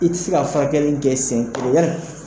I tɛ se ka furakɛli kɛ sen kelen